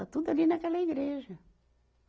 Está tudo ali naquela igreja.